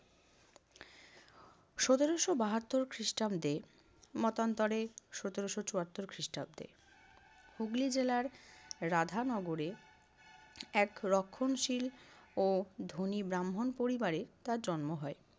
সতেরশো বাহাত্তর খ্রিষ্টাব্দে মতান্তরে সতেরশো চুয়াত্তর খ্রিষ্টাব্দে হুগলি জেলার রাধানগরে এক রক্ষণশীল ও ধনী ব্রাহ্মণ পরিবারে তার জন্ম হয়।